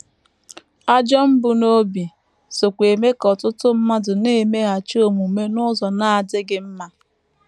Ajọ mbunobi sokwa eme ka ọtụtụ mmadụ na - emeghachi omume n’ụzọ na - adịghị mma.